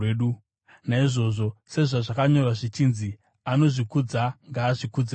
Naizvozvo, sezvazvakanyorwa zvichinzi, “Anozvikudza ngaazvikudze muna She.”